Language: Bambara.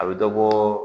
A bɛ dɔ bɔ